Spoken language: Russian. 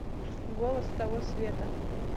голос с того света